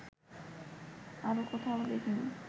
আর কোথাও দেখিনি